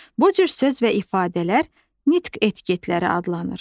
Bu cür söz və ifadələr nitq etiketləri adlanır.